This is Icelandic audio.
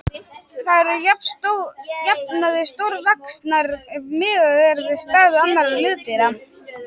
Þær eru að jafnaði stórvaxnar ef miðað er við stærð annarra liðdýra.